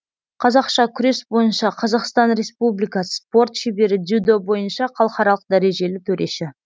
қазақша күрес бойынша қазақстан республикасы спорт шебері дзюдо бойынша халықаралық дәрежелі төреші